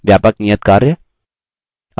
व्यापक नियतकार्य